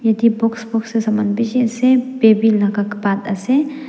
te books books de saman bishi ase baby laka bath ase.